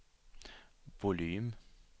volym